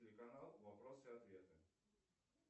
телеканал вопросы и ответы